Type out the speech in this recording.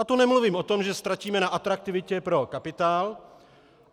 A to nemluvím o tom, že ztratíme na atraktivitě pro kapitál.